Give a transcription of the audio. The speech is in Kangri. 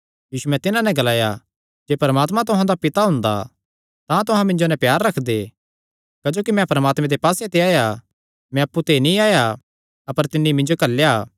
यीशुयैं तिन्हां नैं ग्लाया जे परमात्मा तुहां दा पिता हुंदा तां तुहां मिन्जो नैं प्यार रखदे क्जोकि मैं परमात्मे दे पास्से ते आया मैं अप्पु ते नीं आया अपर तिन्नी मिन्जो घल्लेया